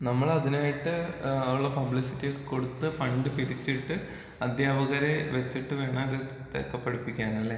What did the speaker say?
നമ്മൾ അതിനായിട്ട് ഏഹ് ഉള്ള പബ്ലിസിറ്റി ഒക്കെ കൊടുത്ത് ഫണ്ട് പിരിച്ചിട്ട് അധ്യാപകരെ വെച്ചിട്ട് വേണമിത് പഠിപ്പിക്കാൻ അല്ലെ?